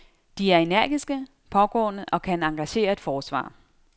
De er energiske, pågående og kan engagere et forsvar.